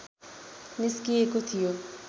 निस्किएको थियो